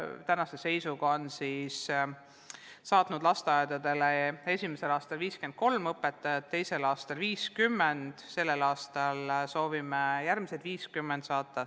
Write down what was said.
Tänase seisuga said lasteaiad tänu sellele esimesel aastal juurde 53 õpetajat, teisel aastal 50, sellel aastal soovime lasteaedadesse saata järgmised 50 õpetajat.